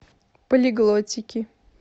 полиглотики